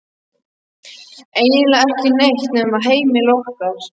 Eiginlega ekki neitt nema heimili okkar.